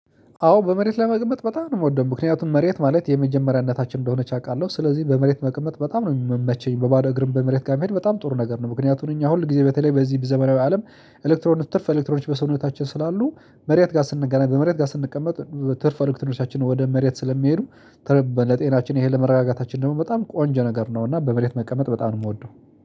አዎ በመሬት መቀመጥ በጣም ነው የምወደው፤ ምክንያቱም መሬት ማለት የመጀመሪያ እናታችን እንደሆነች አውቃለሁ። ስለዚህ በመሬት መቀመጥ በጣም ነው የምመቸኝ፤ በባዶ እግርም በመሬት ጋር መሄድ በጣም ጥሩ ነገር ነው፤ ምክንያቱም እኛ ሁል ጊዜ በተለይ በዚህ ዘመናዊ አለም ኤሌክትሮኒክስ ትርፍ ኤሌክትሮዎች በሰውነታችን ስላሉ መሬት ጋር ስንገናኝ በመሬት ጋር ስንቀመጥ ትርፍ ኤሌክትሮኖቻችን ወደ መሬት ስለሚሄዱ ለጤናችን ይሄ ለመረጋጋታችን ደግሞ በጣም ቆንጆ ነገር ነውና በመሬት መቀመጥ በጣም ነው የምወደው።